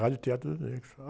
Rádio Teatro dos Negros.